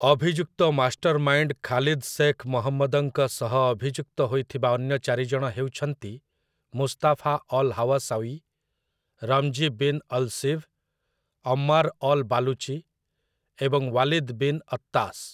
ଅଭିଯୁକ୍ତ mastermind Khalid Sheikh ମହମ୍ମଦଙ୍କ ସହ ଅଭିଯୁକ୍ତ ହୋଇଥିବା ଅନ୍ୟ ଚାରିଜଣ ହେଉଛନ୍ତି Mustafa al Hawsawi, Ramzi bin al Shibh, Ammar al Baluchi ଏବଂ ୱାଲିଦ୍ ବିନ୍ ଅତ୍ତାଶ୍ ।